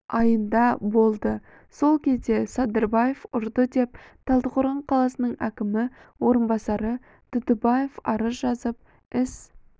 айында болды сол кезде садырбаев ұрды деп талдықорған қаласының әкімінің орынбасары тұтыбаев арыз жазып іс